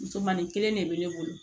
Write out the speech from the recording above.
Musomani kelen de bɛ ne bolo